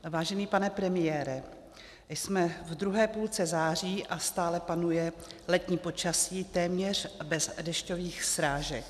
Vážený pane premiére, jsme v druhé půlce září a stále panuje letní počasí téměř bez dešťových srážek.